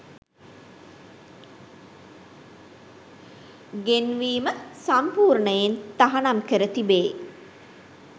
ගෙන්වීම සම්පූර්ණයෙන් තහනම් කර තිබේ